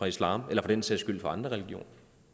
islam eller for den sags skyld i andre religioner